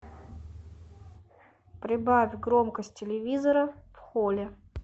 прибавь громкость телевизора в холле